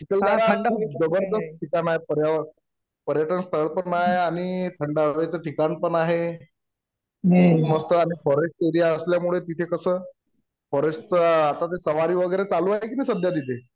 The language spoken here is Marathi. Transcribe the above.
चिखलदरा जबरदस्त ठिकाण आहे पर्यावरण पर्यटन स्थळ पण आहे आणि थंड हवेचं ठिकाण पण आहे मस्त आणि फॉरेस्ट एरिया असल्यामुळे तिथे कसं फॉरेस्ट चा आता ते सवारी वगैरे सुरू आहे की नाई सध्या तिथे